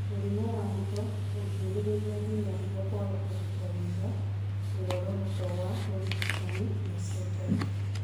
Mũrimũ wa higo ũngĩhĩrĩria nginya higo kwaga kũruta wĩra, muoroto wa ũrigitani nĩũcenjagia